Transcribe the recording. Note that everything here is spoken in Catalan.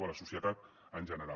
a la societat en general